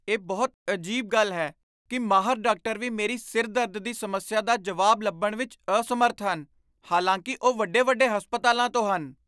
ਇਹ ਬਹੁਤ ਅਜੀਬ ਗੱਲ ਹੈ ਕੀ ਮਾਹਰ ਡਾਕਟਰ ਵੀ ਮੇਰੀ ਸਿਰ ਦਰਦ ਦੀ ਸਮੱਸਿਆ ਦਾ ਜਵਾਬ ਲੱਭਣ ਵਿੱਚ ਅਸਮਰੱਥ ਹਨ ਹਾਲਾਂਕਿ ਉਹ ਵੱਡੇ ਵੱਡੇ ਹਸਪਤਾਲਾਂ ਤੋਂ ਹਨ